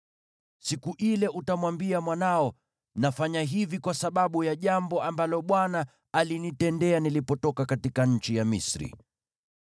Siku ile utamwambia mwanao, ‘Nafanya hivi kwa sababu ya jambo ambalo Bwana alinitendea nilipotoka katika nchi ya Misri.’